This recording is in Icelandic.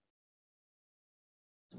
Hann er stórskáld!